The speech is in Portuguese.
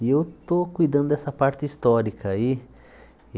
E eu estou cuidando dessa parte histórica aí.